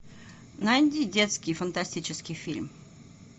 найди детский фантастический фильм